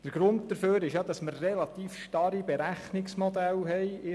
Der Grund dafür ist, dass wir relativ starre Berechnungsmodelle haben.